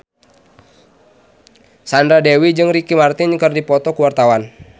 Sandra Dewi jeung Ricky Martin keur dipoto ku wartawan